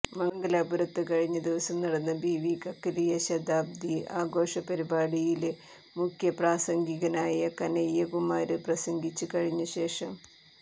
മംഗലാപുരത്ത് കഴിഞ്ഞ ദിവസം നടന്ന ബിവി കക്കലിയ ശതാബ്ദി ആഘോഷ പരിപാടിയില് മുഖ്യ പ്രാസംഗികനായ കനയ്യകുമാര് പ്രസംഗിച്ച് കഴിഞ്ഞ ശേഷം